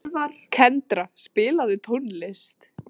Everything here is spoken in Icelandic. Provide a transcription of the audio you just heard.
Kendra, spilaðu tónlist.